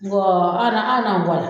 an yɛrɛ an yɛrɛ